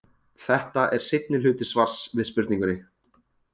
Þetta er seinni hluti svars við spurningunni.